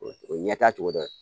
O ye ɲɛtaga togo dɔn